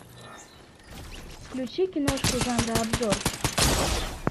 включи киношку жанра обзор